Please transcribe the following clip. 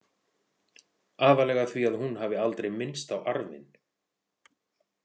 Aðallega því að hún hafi aldrei minnst á arfinn.